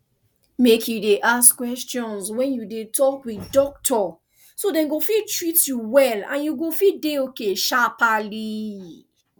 mek you de ask questions wen you de talk with doctor so dem go fit treat you well and you go fit dey okay sharpally